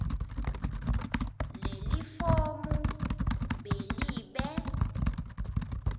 lelifomu b libe